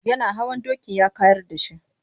Yana hawa dokin ya kayar da shi.